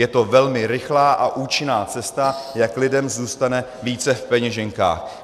Je to velmi rychlá a účinná cesta, jak lidem zůstane více v peněženkách.